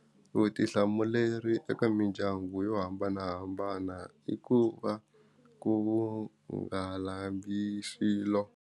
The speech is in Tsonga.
Vutihlamuleri eka mindyangu yo hambanahambana i ku va ku nga lambi swilo.